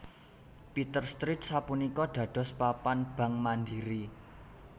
Peters Street sapunika dados papan bank Mandiri